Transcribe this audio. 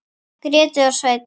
Gréta og Sveinn.